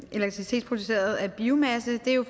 elektricitet produceret af biomasse er jo